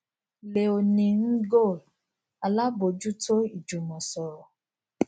léonie ngolle alábòójútó ìjùmọsọrọ